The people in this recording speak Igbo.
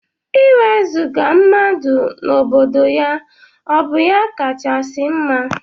Iwezuga mmadụ n' obodo ya ọbụ ya kachasi mma?